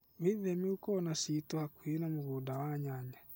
Wĩtheme gũkorwo na ciito hakuhĩ na mũgũnda wa nyanya